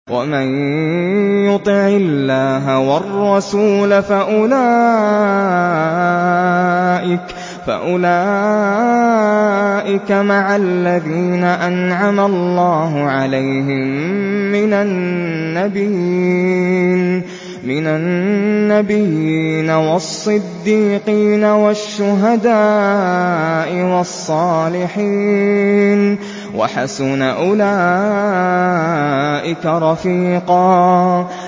وَمَن يُطِعِ اللَّهَ وَالرَّسُولَ فَأُولَٰئِكَ مَعَ الَّذِينَ أَنْعَمَ اللَّهُ عَلَيْهِم مِّنَ النَّبِيِّينَ وَالصِّدِّيقِينَ وَالشُّهَدَاءِ وَالصَّالِحِينَ ۚ وَحَسُنَ أُولَٰئِكَ رَفِيقًا